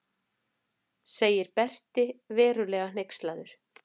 segir Berti raunverulega hneykslaður.